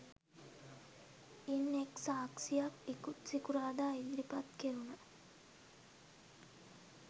ඉන් එක් සාක්ෂියක් ඉකුත් සිකුරාදා ඉදිරිපත් කෙරුණ